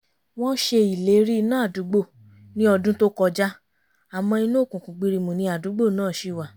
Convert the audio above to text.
wọ́n ṣe ìlérí iná àdúgbò ní ọdún tó kọjá àmọ́ inú òkùnkùn gbirimù ni àdúgbò náà ṣì wà